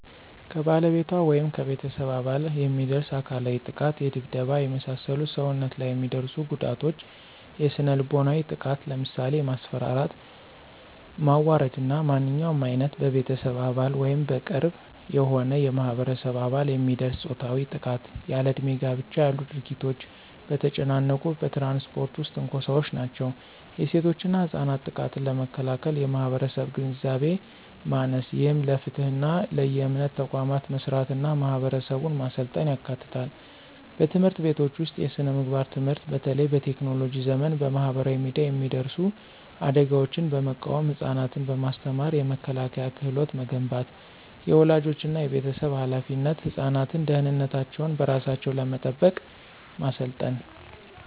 ከባለቤቷ ወይም ከቤተሰብ አባል የሚደርስ አካላዊ ጥቃት የድብደባ፣ የመሳሰሉ ሰውነት ላይ የሚደርሱ ጉዳቶች። የስነ-ልቦናዊ ጥቃት ለምሳሌ የማስፈራራት፣ ማዋረድ እና ማንኛውም ዓይነት በቤተሰብ አባል ወይም በቅርብ የሆነ የማህበረሰብ አባል የሚደርስ ፆታዊ ጥቃት። ያለእድሜ ጋብቻ ያሉ ድርጊቶች። በተጨናነቁ በትራንስፖርት ውስጥ ትንኮሳዎች ናቸው። የሴቶችና ህጻናት ጥቃትን ለመከላከል የማህበረሰብ ግንዛቤ ማሰስ፣ ይህም ለፍትህና ለየእምነት ተቋማት መስራትና ማህበረሰቡን ማሰልጠን ያካትታል። በትምህርት ቤቶች ውስጥ የስነ-ምግባር ትምህርት በተለይ በቴክኖሎጂ ዘመን በማህበራዊ ሚዲያ የሚደርሱ አደጋዎችን በመቃወም ህፃናትን በማስተማር የመከላከያ ክህሎት መገንባት። · የወላጆችና የቤተሰብ ኃላፊነት ህፃናትን ደህንነታቸውን በራሳቸው ለመጠበቅ ማሰልጠን።